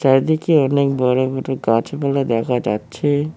এদিকে অনেক বড়ো বড়ো গাছপালা দেখা যাচ্ছে।